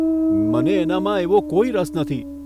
મને એનામાં એવો કોઇ રસ નથી.